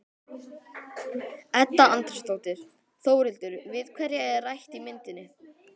Edda Andrésdóttir: Þórhildur, við hverja er rætt í myndinni?